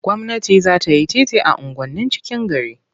Gwamnati za ta yi titi a unguwannin cikin gari.